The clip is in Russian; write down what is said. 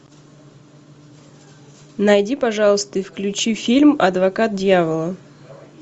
найди пожалуйста и включи фильм адвокат дьявола